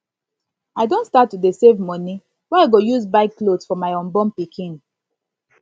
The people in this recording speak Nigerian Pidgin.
i don start to dey save money wey i go use buy cloth for cloth for my unborn pikin